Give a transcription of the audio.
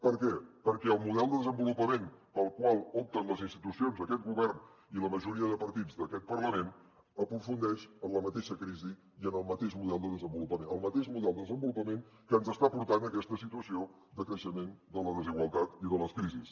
per què perquè el model de desenvolupament pel qual opten les institucions d’aquest govern i la majoria de partits d’aquest parlament aprofundeix en la mateixa crisi i en el mateix model de desenvolupament el mateix model de desenvolupament que ens està portant a aquesta situació de creixement de la desigualtat i de les crisis